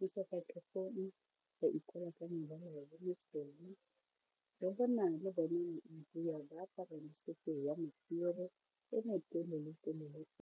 mo sefatlhegong ba ikwala ka mebala e mesweu, ke a bona le bone maIndia ba apara mosese wa lesire e me telele-telele.